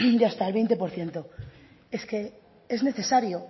de hasta el veinte por ciento es que es necesario